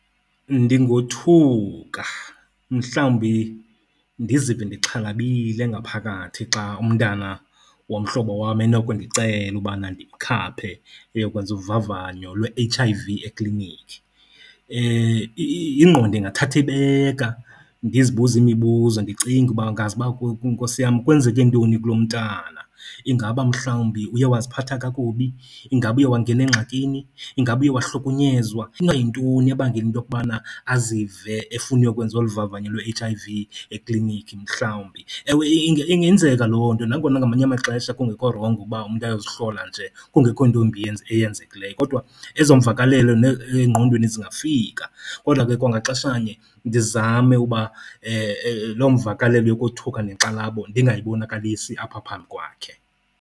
Ndingothuka mhlawumbi ndizive ndixhalabile ngaphakathi xa umntana womhlobo wam enokundicela ubana ndimkhaphe ayokwenza ubavanyo lwe-H_I_V eklinikhi. Ingqondo ingathatha ibeka ndizibuze imibuzo ndicinguba ngazuba, Nkosi yam, kwenzeke ntoni kulo mntana. Ingaba mhlawumbi uye waziphatha kakubi? Ingaba uye wangena engxakini? Ingaba uye wahlukunyezwa? Inoba yintoni ebangela into yokubana azive efuna uyokwenza olu vavanyo lwe-H_I_V eklinikhi mhlawumbi. Ewe, ingenzeka loo nto nangona ngamanye amaxesha kungekho rongo ukuba umntu ayozihlola nje kungekho nto imbi eyenzekileyo, kodwa ezo mvakalelo engqondweni zingafika. Kodwa ke kwangaxeshanye ndizame uba loo mvakalelo yokothuka nenkxalabo ndingayibonakalisi apha phambi kwakhe.